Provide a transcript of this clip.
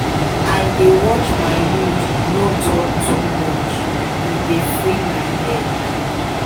i dey watch my mood no talk too much e dey free my head.